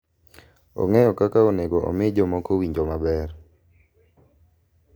Ong’eyo kaka onego omi jomoko owinjo maber.